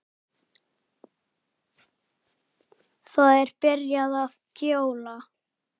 Það er byrjað að gjóla.